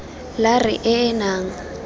la r e e nnang